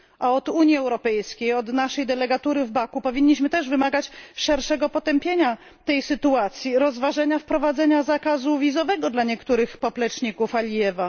Od Unii Europejskiej, od naszej delegatury w Baku powinniśmy też wymagać szerszego potępienia tej sytuacji, rozważenia wprowadzenia zakazu wizowego dla niektórych popleczników Alijewa.